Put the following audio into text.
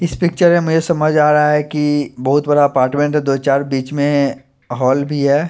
इस पिचर में मुझे समज आरा हे की बोहोत बड़ा दो चार बिच में होल भी हैं।